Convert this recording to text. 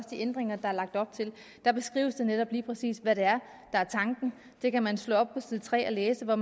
ændringer der er lagt op til der beskrives det netop lige præcis hvad det er der er tanken det kan man slå op på side tre og læse og